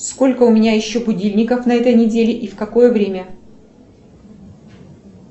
сколько у меня еще будильников на этой неделе и в какое время